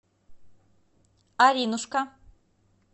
аринушка